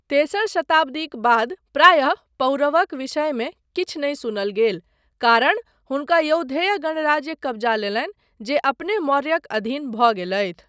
तेसर शताब्दीक बाद प्रायः पौरवक विषयमे किछु नहि सुनल गेल कारण हुनका यौधेय गणराज्य कब्जा लेलनि जे अपने मौर्यक अधीन भऽ गेलथि।